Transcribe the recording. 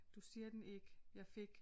Du siger den ikke jeg fik